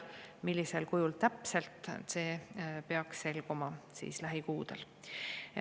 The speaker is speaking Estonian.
Millisel kujul täpselt, see peaks selguma lähikuudel.